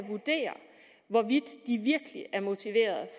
vurdere hvorvidt de virkelig er motiverede